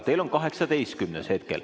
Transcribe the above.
Teil on 18. küsimus hetkel.